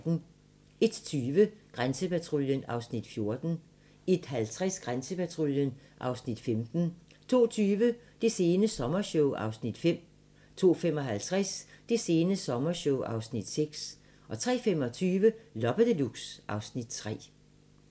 01:20: Grænsepatruljen (Afs. 14) 01:50: Grænsepatruljen (Afs. 15) 02:20: Det sene sommershow (Afs. 5) 02:55: Det sene sommershow (Afs. 6) 03:25: Loppe Deluxe (Afs. 3)